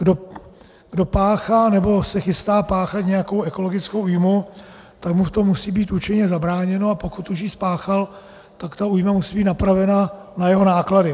Kdo páchá nebo se chystá páchat nějakou ekologickou újmu, tak mu v tom musí být účinně zabráněno, a pokud už ji spáchal, tak ta újma musí být napravena na jeho náklady.